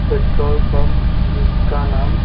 petrol pump जिसका नाम--